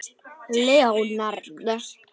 Leonard